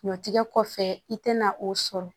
Ɲɔtigɛ kɔfɛ i tɛna o sɔrɔ